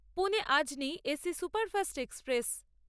Pune Ajni AC Superfast express